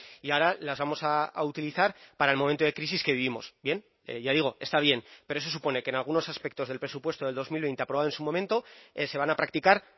y ahora las vamos a utilizar para el momento de crisis que vivimos bien ya digo está bien pero eso supone que en algunos aspectos del presupuesto de dos mil veinte aprobado en su momento se van a practicar